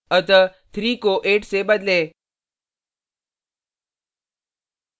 अतः 3 को 8 से बदलें